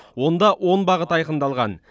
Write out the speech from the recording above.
онда он бағыт айқындалған